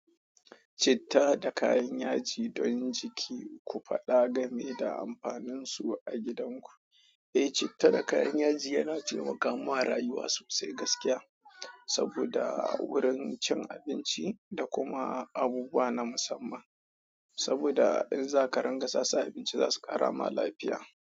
Citta da kayan yaji don jiki, ku faɗa game da amfaninsu a gidanku. Eeh che tallaka in yaje yana taimakawa rayuwa sosai gaskiya saboda wurin cin abinci da kuma abubuwa na musamman. Saboda in za ka rangasa, su a abinci za su ƙara ma lafiya.